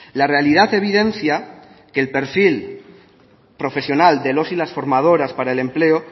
la realidad evidencia que el perfil profesional de los y las formadoras para el empleo